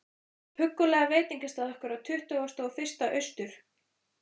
huggulega veitingastað okkar á Tuttugasta og fyrsta Austur